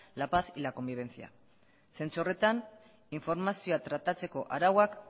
la paz y la convivencia zentzu horretan informazioa tratatzeko arauak